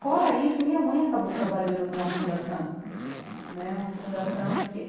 Fora isso, minha mãe acabou trabalhando numa fundação né uma fundação de que.